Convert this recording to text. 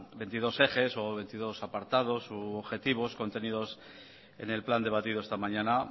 veintidós ejes o veintidós apartados u objetivos contenidos en el plan debatido esta mañana